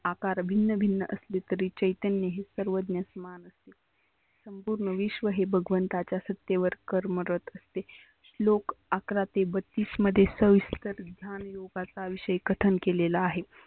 अकार भिन्न भिन्न असले तरी चैतन्य हे सर्वत्र समान संपुर्ण विश्व हे भगवंताच्या सत्यवर कर्म असते. श्लोक अकरा ते बत्तीस मध्ये सविस्तर लोकांचा विषय कथन केलेला आहे.